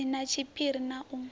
si na tshiphiri na u